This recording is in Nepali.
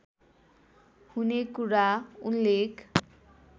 हुने कुरा उल्लेख